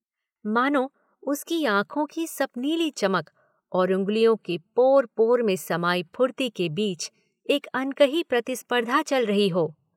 मानो उसकी आंखों की सपनीली चमक और उंगलियों के पोर-पोर में समाई फुर्ती के बीच एक अनकही प्रतिस्पर्धा चल रही हो।